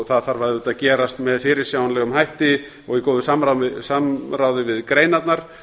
það þarf auðvitað að gerast með fyrirsjáanlegum hætti og í góðu samráði við greinarnar